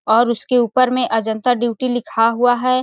और उसके ऊपर में अजंता ड्यूटी लिखा हुआ है।